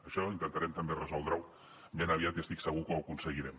això intentarem també resoldre ho ben aviat i estic segur que ho aconseguirem